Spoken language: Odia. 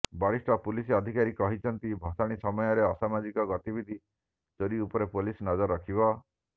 ବରିଷ୍ଠ ପୁଲିସ ଅଧିକାରୀ କହିଛନ୍ତି ଭସାଣୀ ସମୟରେ ଅସାମାଜିକ ଗତିବିଧି ଚୋରି ଉପରେ ପୁଲିସ ନଜର ରଖିବ